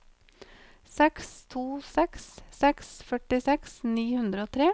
seks to seks seks førtiseks ni hundre og tre